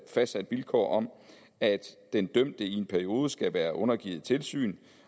fastsat vilkår om at den dømte i en periode skal være undergivet tilsyn